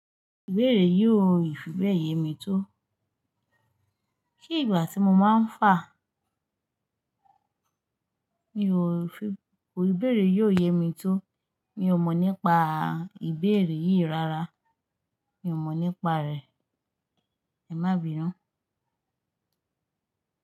Ìbéèrè yóò fi bẹ́ẹ̀ yemi tó. Kí ìgbà tí mo máa ń fà? Mi ò fi, ò ìbéèrè yóò yemi tó. Mi ò mọ̀ nípa ìbéèrè yìí rárá. Mi ò mọ̀ nípa rẹ̀. Ẹ má bínú.